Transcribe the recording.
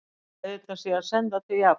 Verða kveðjurnar síðan sendar til Japans